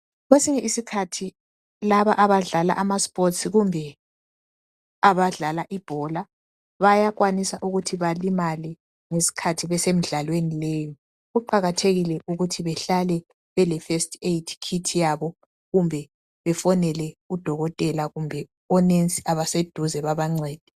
Kwesinye isikhathi laba abadlala imidlalo kumbe abadlala ibhola bayakwanisa ukuthi balimale ngesikhathi besemidlalweni leyo kuqakathekile ukuthi behlale bele first aid kit yabo kumbe befonele udokotela kumbe omongikazi abaseduze bebancede.